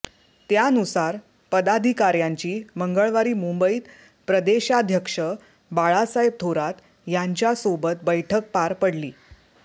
त्यानुसार पदाधिकाऱ्यांची मंगळवारी मुंबईत प्रदेशाध्यक्ष बाळासाहेब थोरात यांच्या सोबत बैठक पार पडली